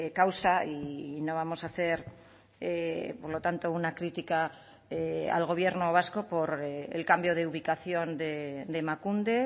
causa y no vamos a hacer por lo tanto una crítica al gobierno vasco por el cambio de ubicación de emakunde